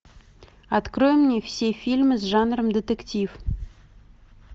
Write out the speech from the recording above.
открой мне все фильмы с жанром детектив